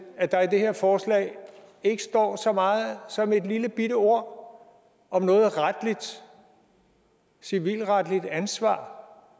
at der i det her forslag ikke står så meget som et lillebitte ord om noget civilretligt ansvar